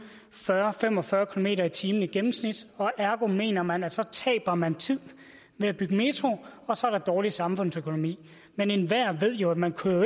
fyrre til fem og fyrre kilometer per time i gennemsnit og ergo mener man at så taber man tid med at bygge en metro og så er der dårlig samfundsøkonomi men enhver ved jo at man